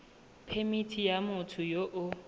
phemithi ya motho yo o